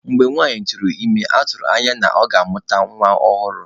Mgbe nwanyị tụrụ ime, a tụrụ anya na ọ ga-amụta nwa ọhụrụ.